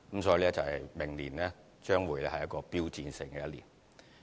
所以，明年將會是標誌性的一年。